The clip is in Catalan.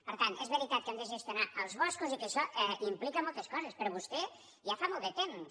per tant és veritat que hem de gestionar els boscos i que això implica moltes coses però vostè ja fa molt de temps